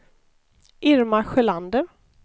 Irma Sjölander